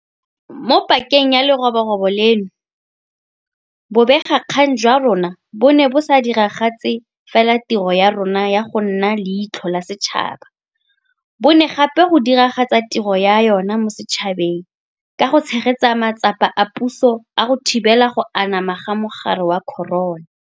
Mo pakeng ya leroborobo leno, bobegakgang jwa rona bo ne bo sa diragatse fela tiro ya jona ya go nna leitlho la setšhaba, bo ne gape go diragatsa tiro ya yona mo setšhabeng ka go tshegetsa matsapa a puso a go thibela go anama ga mogare wa corona.